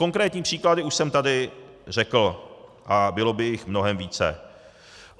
Konkrétní příklady už jsem tady řekl a bylo by jich mnohem více.